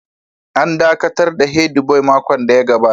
An dakatar da Head boy a makon da ya gabata